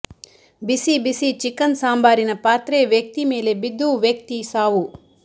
ಬಿಸಿ ಬಿಸಿ ಚಿಕನ್ ಸಾಂಬಾರಿನ ಪಾತ್ರೆ ವ್ಯಕ್ತಿ ಮೇಲೆ ಬಿದ್ದು ವ್ಯಕ್ತಿ ಸಾವು